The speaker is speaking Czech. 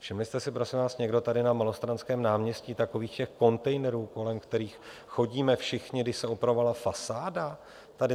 Všimli jste si prosím vás někdo tady na Malostranském náměstí takových těch kontejnerů, kolem kterých chodíme všichni, když se opravovala fasáda tady?